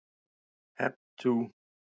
Hep tú!